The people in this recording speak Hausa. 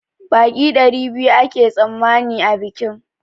Baƙi ɗari biyu ake tsammani a bikin